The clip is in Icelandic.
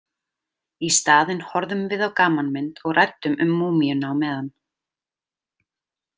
Í staðinn horfðum við á gamanmynd og ræddum um múmíuna á meðan.